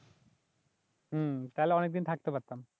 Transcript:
হম তালে অনেকদিন থাকতে পারতাম